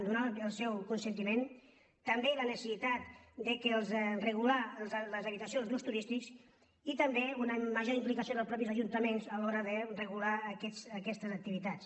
donar el seu consentiment també la necessitat de regular les habitacions d’ús turístic i també una major implicació dels mateixos ajunta·ments a l’hora de regular aquestes activitats